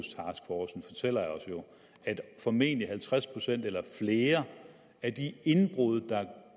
fortæller os jo at formentlig halvtreds procent eller flere af de indbrud der